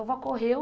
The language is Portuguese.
A vó correu.